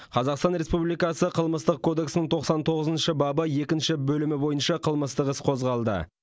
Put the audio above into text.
қазақстан республикасы қылмыстық кодексінің тоқсан тоғызыншы бабы екінші бөлімі бойынша қылмыстық іс қозғалды